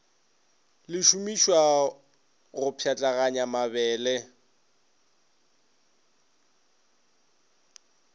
le šomišwago go pšhatlaganya mabele